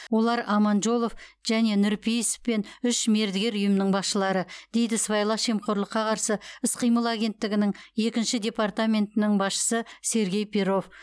олар аманжолов және нұрпейісов пен үш мердігер ұйымның басшылары дейді сыбайлас жемқорлыққа қарсы іс қимыл агентігінің екінші департаментінің басшысы сергей перов